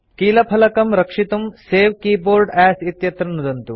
कीलफलकं keyboard रक्षितुं save keyboard as इत्यत्र नुदन्तु